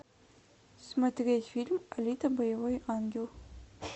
смотреть фильм алита боевой ангел